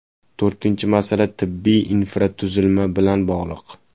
To‘rtinchi masala tibbiy infratuzilma bilan bog‘liq.